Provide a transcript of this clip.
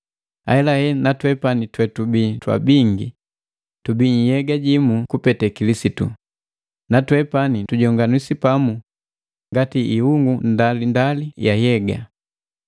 Ahelahela na twepani twetubi twabingi, tubi nhyega jimu kupete Kilisitu, na twepani tujonganiswi pamu ngati iungu ndalindali ya hyega.